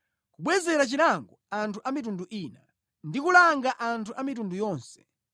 kubwezera chilango anthu a mitundu ina, ndi kulanga anthu a mitundu yonse,